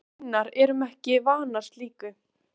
Við hinar erum ekki vanar slíku.